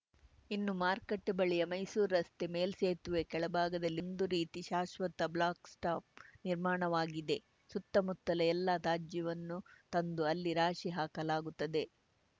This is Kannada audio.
ಇನ್ನು ಮಾರುಕಟ್ಟೆಬಳಿಯ ಮೈಸೂರು ರಸ್ತೆ ಮೇಲ್ಸೇತುವೆ ಕೆಳಭಾಗದಲ್ಲಿ ಒಂದು ರೀತಿ ಶಾಶ್ವತ ಬ್ಲಾಕ್‌ಸ್ಟಾಪ್‌ ನಿರ್ಮಾಣವಾಗಿದೆ ಸುತ್ತಮುತ್ತಲ ಎಲ್ಲ ತಾಜ್ಯವನ್ನು ತಂದು ಅಲ್ಲಿ ರಾಶಿ ಹಾಕಲಾಗುತ್ತದೆ